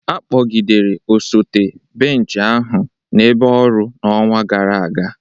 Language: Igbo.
a kpọgidere osote bench ahụ n'ebe ọrụ n'ọnwa gara aga